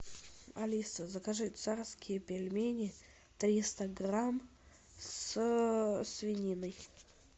алиса закажи царские пельмени триста грамм со свининой